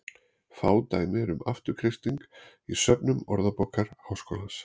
Fá dæmi eru um afturkreisting í söfnum Orðabókar Háskólans.